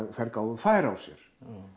þær gáfu færi á sér